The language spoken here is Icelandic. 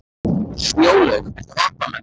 Snjólaug, viltu hoppa með mér?